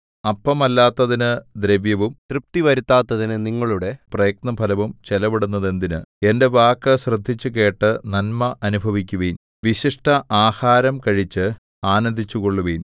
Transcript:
അപ്പമല്ലാത്തതിനു ദ്രവ്യവും തൃപ്തി വരുത്താത്തതിനു നിങ്ങളുടെ പ്രയത്നഫലവും ചെലവിടുന്നതെന്തിന് എന്റെ വാക്കു ശ്രദ്ധിച്ചുകേട്ടു നന്മ അനുഭവിക്കുവിൻ വിശിഷ്ടആഹാരം കഴിച്ചു ആനന്ദിച്ചുകൊള്ളുവിൻ